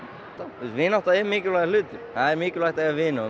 vinátta er mikilvægur hlutur það er mikilvægt að eiga vini og